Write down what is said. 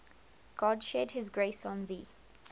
god shed his grace on thee